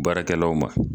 Baarakɛlaw ma